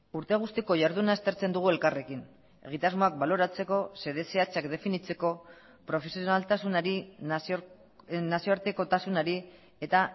urte guztiko jarduna aztertzen dugu elkarrekin egitasmoak baloratzeko xede zehatzak definitzeko profesionaltasunari nazioartekotasunari eta